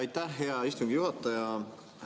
Aitäh, hea istungi juhataja!